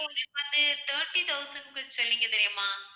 எங்களுக்கு வந்து thirty thousand க்கு சொன்னிங்க தெரியுமா